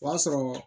O y'a sɔrɔ